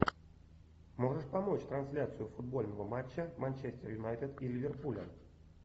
можешь помочь трансляцию футбольного матча манчестер юнайтед и ливерпуля